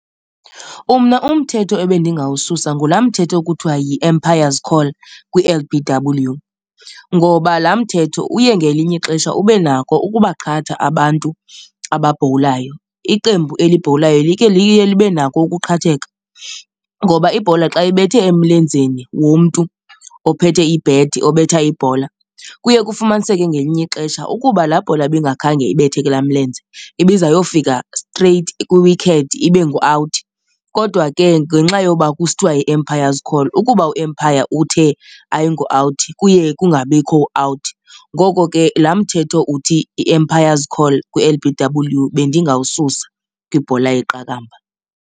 Mna umthetho ebendingawususa ngulaa mthetho kuthiwa yi-Umpire's Call kwi-L_B_W ngoba laa mthetho uye ngelinye ixesha ube nako ukubaqhatha abantu ababhowulayo. Iqembu elibhowulayo like liye libe nako ukuqhatheka ngoba ibhola xa ibethe emlenzeni womntu ophethe i-bat obetha ibhola, kuye kufumaniseke ngelinye ixesha ukuba laa bhola bingakhange ibethe ke laa mlenze ibiza yofika straight kwi-wicket ibe ngu-out. Kodwa ke ngenxa yoba kusithiwa yi-Umpire's Call, ukuba u-umpire uthe ayingo out kuye kungabikho out. Ngoko ke laa mthetho uthi i-Umpire's Call kwi-L_B_W bendingawususa kwibhola yeqakamba.